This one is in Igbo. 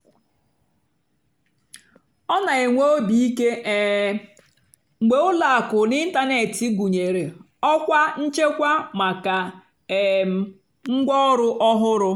ọ́ nà-ènwé óbì íké um mgbe ùlọ àkụ́ n'ị́ntánètị́ gụ́nyeré ọ́kwá nchèkwà màkà um ngwáọ̀rụ́ ọ́hụ́rụ́.